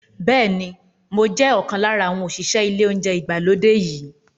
Bẹ́ẹ̀ ni, mo jẹ́ ọ̀kan lára àwọn òṣìṣẹ́ ilé oúnjẹ ìgbàlódé yìí.